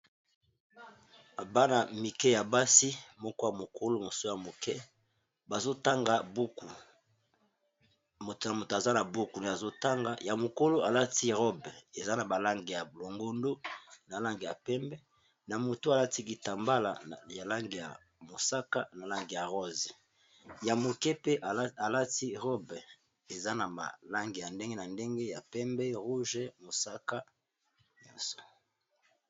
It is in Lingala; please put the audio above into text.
Bana mike ya basi, moko ya mokolo mosusu ya moke bazotanga buku, moto na moto aza na buku azotanga, ya mokolo alati robe eza na ba langi ya bomondo na langi ya pembe, na moto alati kitambala ya langi ya mosaka, na langi ya rose, ya moke pe alati robe eza na ba langi ya ndenge na ndenge, ya pembe motane, mosaka nyonso.